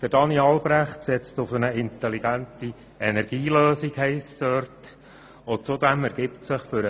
Daniel Albrecht setze auf eine intelligente Energielösung, heisst es dort.